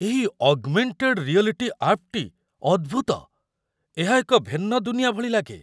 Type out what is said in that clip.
ଏହି augmented reality ଆପ୍‌ଟି ଅଦ୍ଭୁତ! ଏହା ଏକ ଭିନ୍ନ ଦୁନିଆ ଭଳି ଲାଗେ।